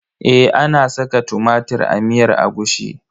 Eh ana saka tumatir a miyar agushi.